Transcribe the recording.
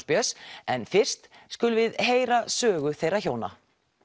Björns en fyrst skulum við heyra sögu þeirra hjóna